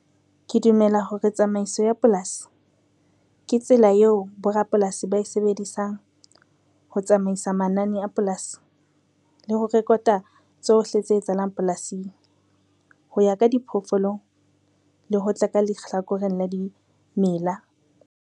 Ke dumela hore tsamaiso ya polasi, ke tsela eo borapolasi ba e sebedisang ho tsamaisa manane a polasi le ho rekota tsohle tse etsahalang polasing, ho ya ka diphoofolong le ho tla ka lehlakoreng la dimela.